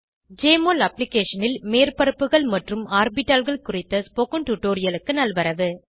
JMOL அப்ளிகேஷனில் மேற்பரப்புகள் மற்றும் ஆர்பிட்டால்கள் குறித்த ஸ்போகன் டுடோரியலுக்கு நல்வரவு